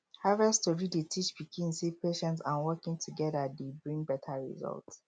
harvest story dey teach pikin say patience and working together dey bring better result